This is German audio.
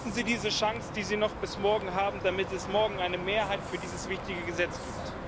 Nutzen Sie diese Chance, die Sie noch bis morgen haben, damit es morgen eine Mehrheit für diese wichtige Richtlinie gibt.